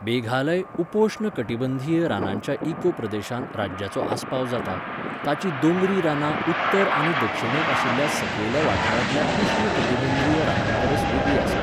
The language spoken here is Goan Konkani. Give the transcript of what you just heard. मेघालय उपोश्ण कटिबंधीय रानांच्या इकोप्रदेशांत राज्याचो आस्पाव जाता, ताचीं दोंगरी रानां उत्तर आनी दक्षिणेक आशिल्ल्या सकयल्या वाठारांतल्या उश्ण कटिबंधीय रानांपरस वेगळीं आसात.